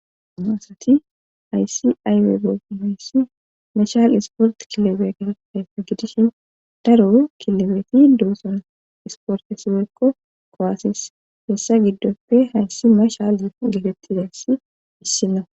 noasati aysi ayweybe hayssi mashal isport kilobe gaedefe gidishin daro kilobeeti duoson isporte sipeekko kowaasis hessa giddoppe hayssi mashal getettizensi issina